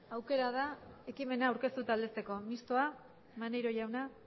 aukera da ekimena aurkeztu eta aldezteko mistoa maneiro jauna